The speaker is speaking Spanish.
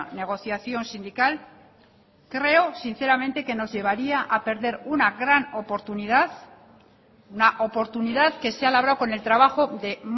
negociación sindical creo sinceramente que nos llevaría a perder una gran oportunidad una oportunidad que se ha labrado con el trabajo de